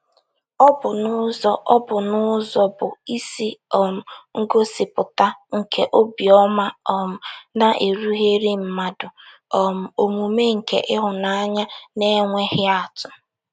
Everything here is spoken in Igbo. Ọ bụ n'ụzọ Ọ bụ n'ụzọ bụ́ isi um ngosịpụta nke obiọma um na-erughịrị mmadụ, um omume nke ịhụnanya na-enweghị atụ.